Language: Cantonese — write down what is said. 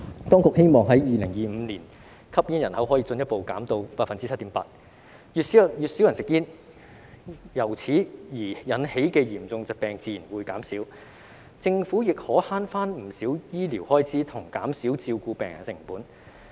當局希望在2025年，吸煙人口可以進一步下降至 7.8%， 越少人吸煙，由此而引起的嚴重疾病自然會減少，政府亦可省回不少醫療開支，以及減少照顧病人的成本。